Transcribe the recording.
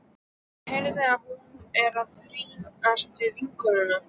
Ég heyri að hún er að rífast við vinnukonuna.